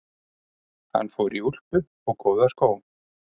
Hann fór í úlpu og góða skó.